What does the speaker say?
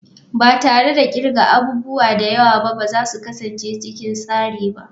Ba tare da kirga abubuwa da yawa ba ba za su kasance cikin tsari ba.